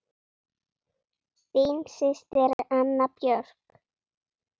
Þín systir, Anna Björk.